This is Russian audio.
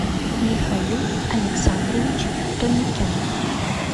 михаил александрович тоникян